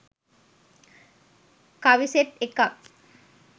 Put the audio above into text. කවි සෙට් එකක්.